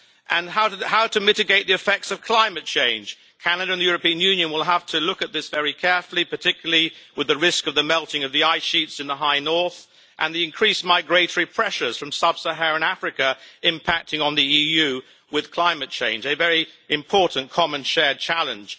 On how to mitigate the effects of climate change, Canada and the European Union will have to look at this very carefully, particularly with the risk of the melting of the ice sheets in the High North and the increased migratory pressures from Sub-Saharan Africa impacting on the EU with climate change, a very important common shared challenge.